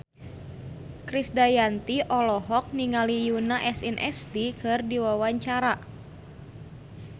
Krisdayanti olohok ningali Yoona SNSD keur diwawancara